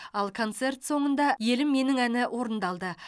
ал концерт соңында елім менің әні орындалды